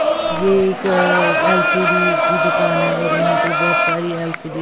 ये एक अअ एल_सी_डी की दुकान है और यहां पे बोहोत सारी एल_सी_डी --